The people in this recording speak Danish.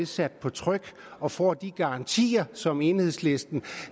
sat på tryk og får de garantier som enhedslisten